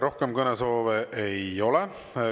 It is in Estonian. Rohkem kõnesoove ei ole.